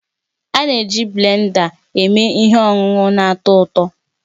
A na-eji blenda eme ihe ọṅụṅụ na-atọ ụtọ